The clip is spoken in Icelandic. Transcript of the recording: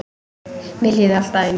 Mér líður alltaf eins.